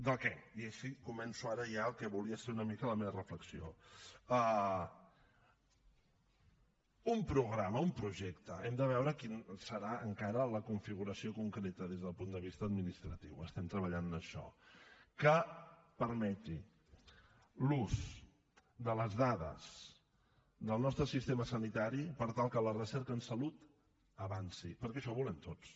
de què i així començo ara ja el que volia ser una mica la meva reflexió d’un programa un projecte hem de veure quina serà encara la configuració concreta des del punt de vista administratiu estem treballant en això que permeti l’ús de les dades del nostre sistema sanitari per tal que la recerca en salut avanci perquè això ho volem tots